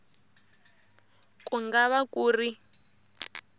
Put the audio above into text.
ku nga va ku ri